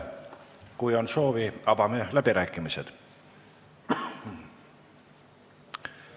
Kui on soovi, avame läbirääkimised.